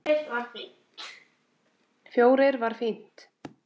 Fjórir var fínt.